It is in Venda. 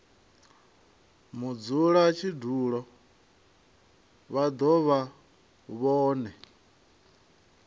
mudzulatshidulo vha do vha vhone